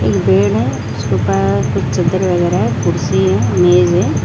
एक बेड है उसके ऊपर कुछ चादर वगैरह है कुर्सी है मेज है।